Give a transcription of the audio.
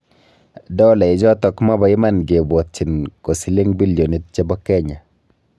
Dola ichotok maba iman ke bwotchin ko silling billionit chebo kenya